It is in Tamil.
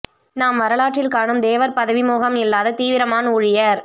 நாம் வரலற்றில் காணும் தேவர் பதவி மோகம் இல்லாத தீவிரமான் ஊழியர்